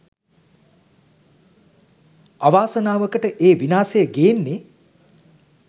අවාසනාවකට ඒ විනාසය ගේන්නෙ